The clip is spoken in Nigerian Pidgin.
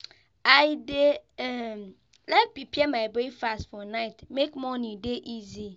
I dey um like prepare my breakfast for night make morning dey easy.